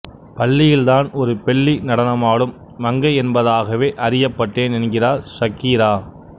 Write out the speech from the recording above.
பள்ளியில் தான் ஒரு பெல்லி நடனமாடும் மங்கை என்பதாகவே அறியப்பட்டேன் என்கிறார் ஷக்கீரா